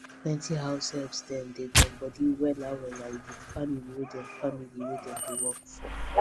plenty househelp dem dey gum body wella wella with the family wey dem family wey dem dey work for